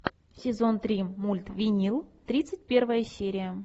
сезон три мульт винил тридцать первая серия